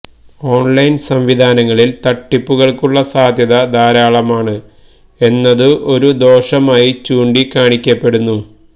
online സംവിധാനങ്ങളിൽ തട്ടിപ്പുകൾക്കുള്ള സാധ്യത ധാരാളമാണ് എന്നതും ഒരു ദോഷമായി ചൂണ്ടിക്കാണിക്കപ്പെടുന്നു